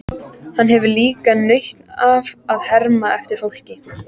Hann hefur líka nautn af að herma eftir fólki.